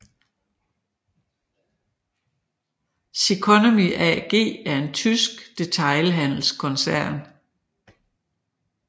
Ceconomy AG er en tysk detailhandelskoncern